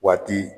Waati